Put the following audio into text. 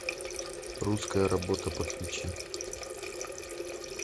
русская работа подключи